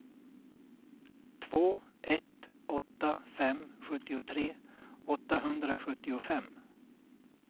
två ett åtta fem sjuttiotre åttahundrasjuttiofem